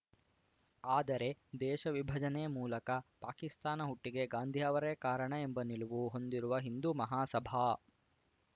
ಆದರೆ ದೇಶ ವಿಭಜನೆ ಮೂಲಕ ಪಾಕಿಸ್ತಾನ ಹುಟ್ಟಿಗೆ ಗಾಂಧಿ ಅವರೇ ಕಾರಣ ಎಂಬ ನಿಲುವು ಹೊಂದಿರುವ ಹಿಂದೂ ಮಹಾಸಭಾ